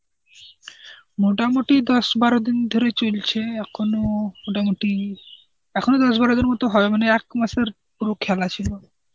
মোটামুটি দশ বারো দিন ধরে চলছে এখনো মোটামুটি. এখনো দশ বারো দিন মতো হবে মনে হয়, এক মাসের পুরো খেলা ছিল.